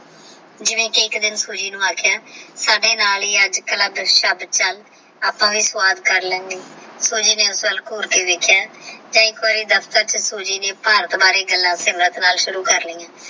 ਜੇਵੇ ਏਕ ਇਨ ਖੁਸ਼ੀ ਨੂ ਅਕਯ ਸਾਡੇ ਨਾਲ ਹੀ ਚਲ ਅਪ੍ਪਕਾ ਵੀ ਸ੍ਵਾਦ ਕਰ ਲੇਂਦੇ ਆਹ ਖੁਸ਼ੀ ਨੇ ਉਸ ਪਾਲ ਘੂਰਦੇ ਦੇਖ੍ਯਾ ਏਕ ਵਾਰ